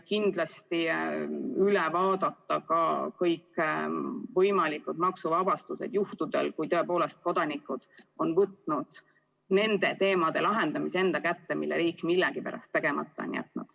Kindlasti tuleb üle vaadata ka kõikvõimalikud maksuvabastused juhtudel, kui tõepoolest kodanikud on võtnud probleemide lahendamise enda kätte, sest riik millegipärast on selle tegemata jätnud.